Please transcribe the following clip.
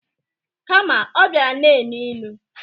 Kama ọ bịara na-enu inu.